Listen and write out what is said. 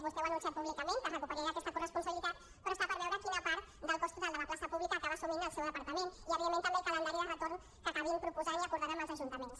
vostè ho ha anunciat públicament que es recuperarà aquesta corresponsabilitat però està per veure quina part del cost total de la plaça pública acaba assumint el seu departament i evidentment també el calendari de retorn que acabin proposant i acordant amb els ajuntaments